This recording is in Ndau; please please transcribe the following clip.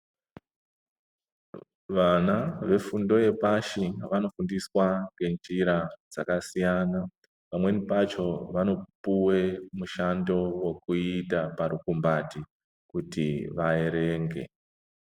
Vana vefundo yepashi vanofundiswa ngenjira dzakasiyana pamweni pacho vanopuwe mushando wekuita parukumbati kuti vaerenge .